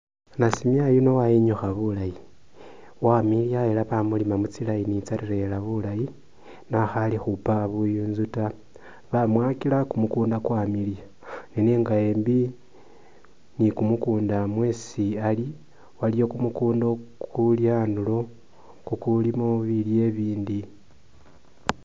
Nasimya yuno wayinyukha bulayi wamiliya ela bamulima mu tsi line tsaleya bulayi nakhali khupaka buyunzu taa , bamwakila kumukunda kwamiliya nenenga embi ni kumukunda mwesi ali waliwo kumukunda kuli anduro kukulimo bilyo ibindi.